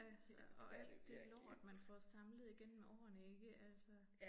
Altså og alt det lort man får samlet igennem årene ikke altså